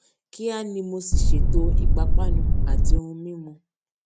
kíá ni mo sì ṣètò ìpápánu àti ohun mímu